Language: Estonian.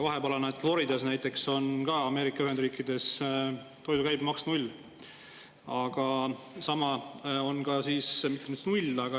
Ameerika Ühendriikides Floridas näiteks on toidu käibemaks 0.